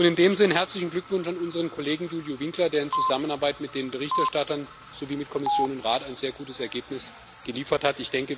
In diesem Sinne herzlichen Glückwunsch an unseren Kollegen Iuliu Winkler, der in Zusammenarbeit mit den Berichterstattern sowie mit Kommission und Rat ein sehr gutes Ergebnis geliefert hat.